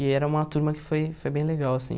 E era uma turma que foi foi bem legal, assim.